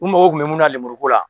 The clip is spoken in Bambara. U mago kun bɛ mun na lumuru